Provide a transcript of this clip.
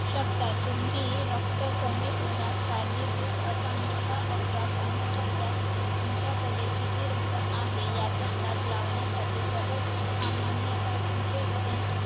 शकतात. तुम्ही रक्त कमी होण्यास कारणीभूत असा मोठा अपघात अनुभवल्यास तुमच्याकडे किती रक्त आहे याचा अंदाज लावण्यासाठी doctor सामान्यतः तुमचे वजन